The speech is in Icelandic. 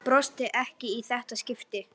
Brosti ekki í þetta skipti.